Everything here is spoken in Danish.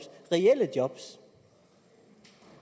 reelle job